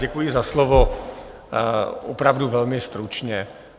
Děkuji za slovo, opravdu velmi stručně.